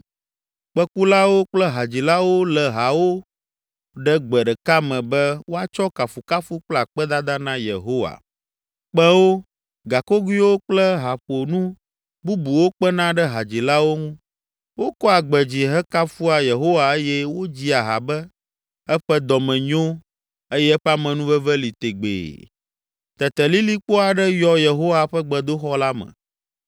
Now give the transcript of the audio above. Kpẽkulawo kple hadzilawo lé hawo ɖe gbe ɖeka me be woatsɔ kafukafu kple akpedada na Yehowa. Kpẽwo, gakogoewo kple haƒonu bubuwo kpena ɖe hadzilawo ŋu, wokɔa gbe dzi hekafua Yehowa eye wodzia ha be, “Eƒe dɔme nyo; eye eƒe amenuveve li tegbee.” Tete lilikpo aɖe yɔ Yehowa ƒe gbedoxɔ la me,